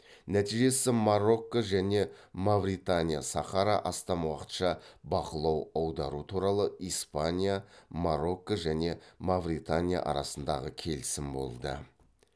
нәтижесі марокко және мавритания сахара астам уақытша бақылау аудару туралы испания марокко және мавритания арасындағы келісім болды